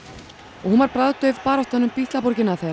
og hún var bragðdauf baráttan um Bítlaborgina þegar